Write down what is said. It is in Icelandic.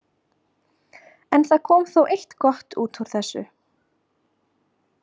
En það kom þó eitt gott út úr þessu.